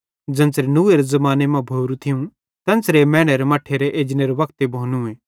ज़ेन्च़रे नूहेरे ज़माने मां भोरू थियूं तेन्च़रे मैनेरे मट्ठेरे एजनेरे वक्ते भोनूए